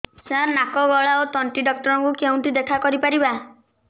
ସାର ନାକ ଗଳା ଓ ତଣ୍ଟି ଡକ୍ଟର ଙ୍କୁ କେଉଁଠି ଦେଖା କରିପାରିବା